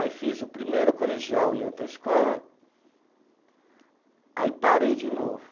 Aí fiz o primeiro colegial em outra escola, aí parei de novo.